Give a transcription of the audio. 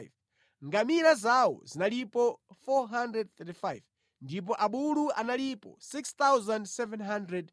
Ngamira zawo zinalipo 435 ndipo abulu analipo 6,720.